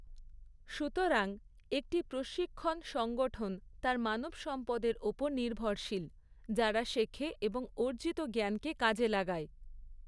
সুতরাং; একটি প্রশিক্ষণ সংগঠন তার মানবসম্পদের ওপর নির্ভরশীল, যারা শেখে এবং অর্জিত জ্ঞানকে কাজে লাগায়।